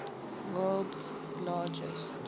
world s largest